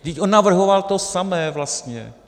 Vždyť on navrhoval to samé vlastně!